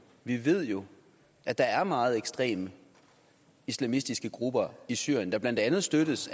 vi ved jo at der er meget ekstreme islamistiske grupper i syrien der blandt andet støttes